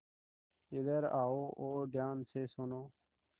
इधर आओ और ध्यान से सुनो